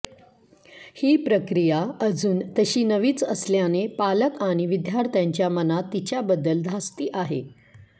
ही प्रक्रिया अजून तशी नवीच असल्याने पालक आणि विद्यार्थ्यांच्या मनात तिच्याबद्दल धास्ती आहे